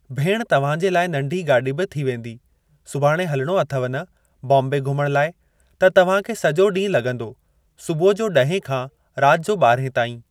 भेण तव्हां जे लाइ नंढी गाॾी बि थी वेंदी, सुभाणे हलिणो अथव न बोम्बे घुमण लाइ त तव्हां खे सॼो ॾींहुं लॻंदो सुबुह जो ॾहें खां राति जो ॿारहें ताईं।